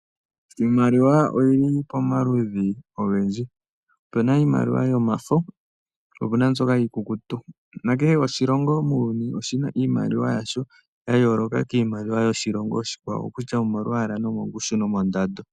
Iimaliwa oyili pomaludhi ogendji, opuna iimaliwa yomafo po opuna mbyoka iikukutu. Nakehe oshilongo muuyuni oshina iimaliwa yasho, ya yooloka kiimaliwa yoshilongo oshikwawo. Okokutya omo lwaala nomongushu nomondando.